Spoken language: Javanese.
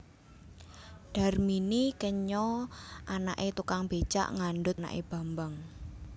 Darmini kenya anaké tukang bécak ngandhut anaké Bambang